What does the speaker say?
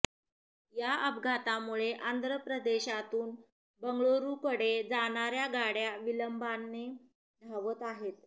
या अपघातामुळे आंध्र प्रदेशातून बंगळुरूकडे जाणार्या गाड्या विलंबाने धावत आहेत